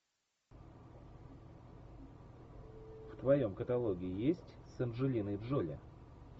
в твоем каталоге есть с анджелиной джоли